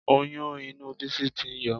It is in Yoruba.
Oyún inú Bísí tí ń yọ